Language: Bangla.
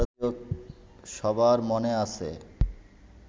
সবার মনে আছে